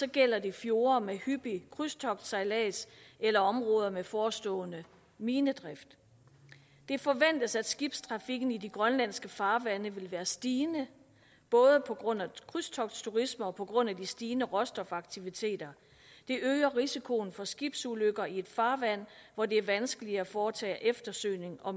gælder det fjorde med hyppig krydstogtsejlads eller områder med forestående minedrift det forventes at skibstrafikken i de grønlandske farvande vil være stigende både på grund af krydstogtsturisme og på grund af de stigende råstofaktiviteter det øger risikoen for skibsulykker i et farvand hvor det er vanskeligt at foretage eftersøgning og